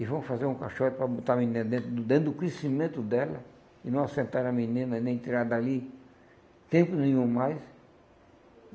E vão fazer um caixote para botar a menina dentro, dentro do crescimento dela, e não assentar a menina, nem tirar dali tempo nenhum mais.